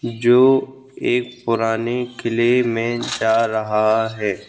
जो एक पुराने किले में जा रहा है।